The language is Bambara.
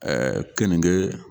keninge